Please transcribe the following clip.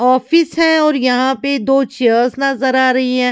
Office है और यहाँ पे दो चेयर्स नजर आ रही है।